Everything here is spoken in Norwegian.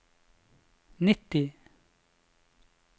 nitti